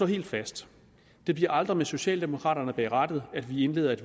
helt fast det bliver aldrig med socialdemokraterne bag rattet at vi indleder et